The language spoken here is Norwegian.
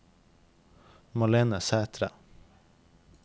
Malene Sætre